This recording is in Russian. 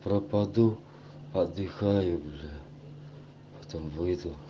пропаду отдыхаю бля потом выйду